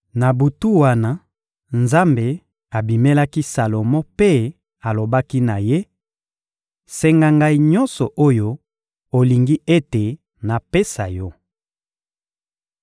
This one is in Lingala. Na butu wana, Nzambe abimelaki Salomo mpe alobaki na ye: — Senga Ngai nyonso oyo olingi ete napesa yo.